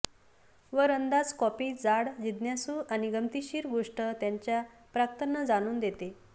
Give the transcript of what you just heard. वर अंदाज कॉफी जाड जिज्ञासू आणि गमतीशीर गोष्ट त्यांच्या प्राक्तन जाणून देते